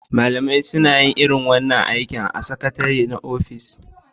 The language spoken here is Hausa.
Malamai suna yin irin wannan ayyuka tare da Sakatare na ofis